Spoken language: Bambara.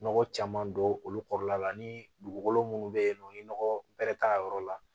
Nɔgɔ caman don olu kɔrɔla la ni dugukolo munnu be yen nɔ ni nɔgɔ bɛrɛ t'a yɔrɔ la